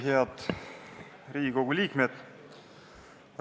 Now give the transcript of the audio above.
Head Riigikogu liikmed!